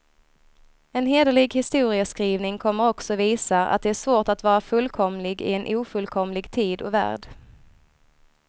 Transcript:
En hederlig historieskrivning kommer också visa, att det är svårt att vara fullkomlig i en ofullkomlig tid och värld.